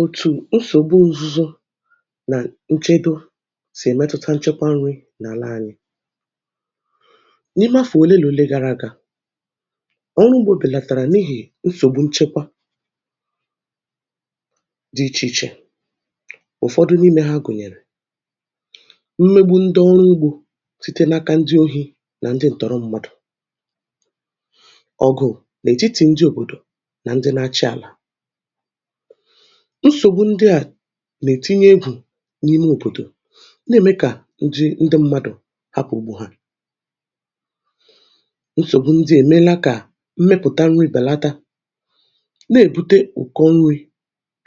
Òtù nsògbu ǹzuzu nà nchedo sì èmetuta nchekwa nri̇ n’àla ànyị, n’ime afọ̀ òle lòle gara aga ọrụ ugbȯ bèlàtàrà n’ihì nsògbu nchekwa dị ichè ichè ụ̀fọdụ n’ime ha gùnyèrè, mmegbu ndị ọrụ ugbȯ site n’aka ndị ohi̇ nà ndị ǹtọrọ mmadù, ọgụ̀ nà ètiti ndị òbòdò nà ndị na-achị àlà, nsògbu ndị à nà-ètinye egwù n’ime òbòdò na-ème kà ndị ndị mmadụ̀ hapụ̀ ugbȯ ha, nsògbu ndị èmela kà mmepụ̀ta nri̇ bèlata na-èbute ụ̀kọ nri̇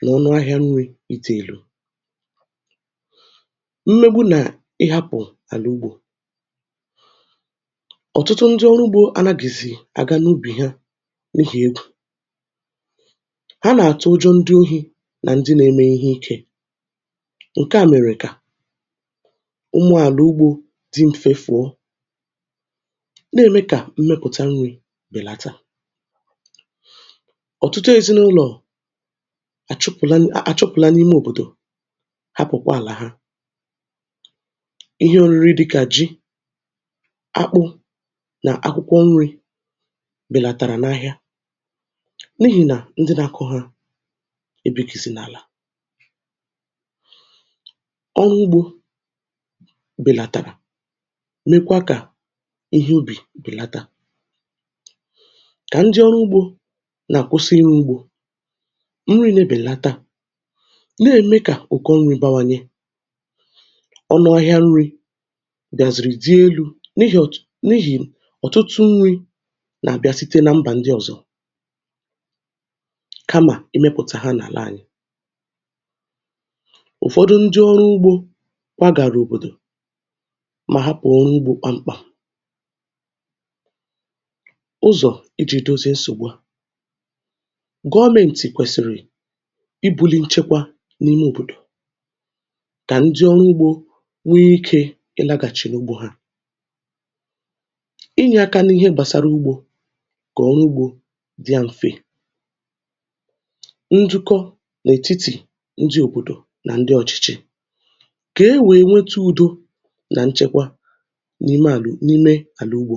nà ọnụ ahịȧ nri̇ idi èlu̇ mmegbu nà ịhȧpụ̀ àlà ugbȯ, ọ̀tụtụ ndị ọrụ ugbȯ anagìzì àga n’ubì ha n’ihì egwù ha na-atụ ụjọ ndị ohi nà ndị nȧ-ėmė ihe ikė ǹke à mèrè kà ụmụ̀ àlà ugbȯ dị mfe fụ̀ọ, nà-ème kà mmepụ̀ta nri̇ bèlata. Ọ̀tụtụ ezinụlọ̀ àchụpụ̀la n àchụpụ̀la n’ime òbòdò hapụ̀kwa àlà ha, ihe òriri dịkà ji, akpụ nà akwụkwọ nri̇ bèlàtàrà n’ahịa n’ihì nà ndị nà-akụ̇ ha ebihizi na-ala ọrụ ugbȯ bèlàtàrà mekwa kà ihe obì bèlata kà ndị ọrụ ugbȯ nà-àkwụsị ịrụ ugbȯ nri̇ nà-ebèlata nà-ème kà ùkò nri̇ bawanye, ọnụ ahịa nri̇ gàzìrì dị elu̇ n’ihì ọ̀ n’ihì ọ̀tụtụ nri̇ nà-àbịa site nà mbà ndị ọ̀zọ kama imepụta ha na-ala anyị. Ụ̀fọdụ ndị ọrụ ugbȯ kwagàrà òbòdò ma hapụ̀ ọrụ ugbȯ kpamkpam ụzọ̀ iji̇ dozie nsògbu, gọọmenti kwèsị̀rị̀ i buli nchekwa n’ime òbòdò kà ndị ọrụ ugbȯ nwee ike ị lagàchì n’ugbȯ ha, inyė aka n’ihe gbasara ugbȯ kà ọrụ ugbȯ dịa m̀fe, ndukọ na-etiti ndị obodo nà ndị ọ̀chị̀chị̀ kà e wèe nweta udò nà nchekwa n’ime àla n’ime àla ugbo.